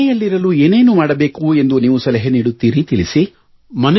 ಮನೆಯಲ್ಲಿರಲು ಏನೇನು ಮಾಡಬೇಕೆಂದು ನೀವು ಸಲಹೆ ನೀಡುತ್ತೀರಿ ತಿಳಿಸಿ